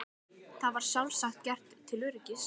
Var það sjálfsagt gert til öryggis.